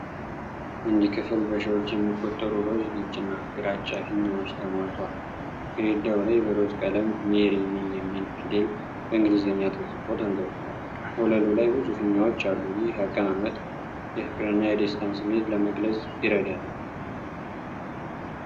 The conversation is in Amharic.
አንድ ክፍል በሺዎች የሚቆጠሩ ሮዝ፣ ነጭና ግራጫ ፊኛዎች ተሞልቷል። ግድግዳው ላይ በሮዝ ቀለም "ሜሪ ሚ" የሚል ፊደል በ እንግሊዘኛ ተጽፎ ተንጠልጥሏል፤ ወለሉ ላይ ብዙ ፊኛዎች አሉ። ይህ አቀማመጥ የፍቅርንና የደስታን ስሜት ለግልጽ ይርዳል።